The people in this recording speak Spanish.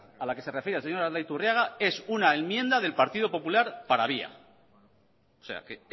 a la que se refiere el señor aldaiturriaga es una enmienda del partido popular para via